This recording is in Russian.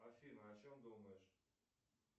афина о чем думаешь